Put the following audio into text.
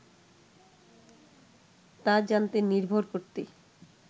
তা জানতে নির্ভর করতে